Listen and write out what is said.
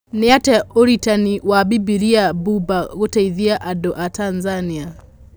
Nĩatĩa ũritani bwa Bibiria bũũmba gũteethia antũ ba Tanzania?